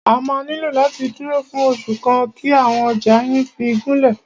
Ẹ máà nílò láti dúró fún oṣù kan kí àwọn ọjà yín fí gúnlẹ̀.